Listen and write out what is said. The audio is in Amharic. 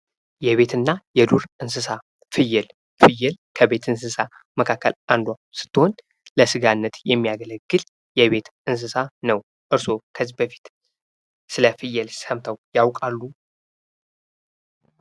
የቤትና የዱር እንስሳ ፍየል፡- ፍየል ከቤት እንስሳ መካከል አንዷ ስትሆን ለስጋነት የሚያገለግል የቤት እንስሳ ነው። እርሶ ከዚህ በፊት ስለፍየል ሰምተው ያውቃሉ?